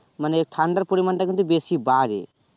মানে ঠাণ্ডার পরিমান টা কিন্তু বেশি বারে